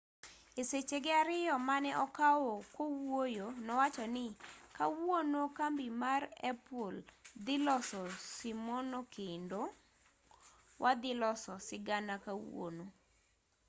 e sechege ariyo mane okawo kowuoyo nowacho ni kawuono kambi mar apple dhi loso simono kendo wadhi loso sigana kawuono